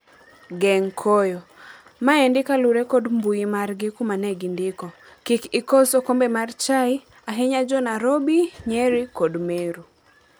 Geng' koyo," Maendi kalure kod mbui margi kuma negindiko, "kik ikos okombe mar chai, ahinya jo Nairobi, Nyeri kod Meru."